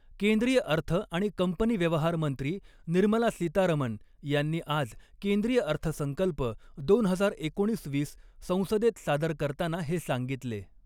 केंद्रीय अर्थ आणि कंपनी व्यवहार मंत्री निर्मला सितारमन यांनी आज केंद्रीय अर्थसंकल्प दोन हजार एकोणीस वीस संसदेत सादर करताना हे सांगितले.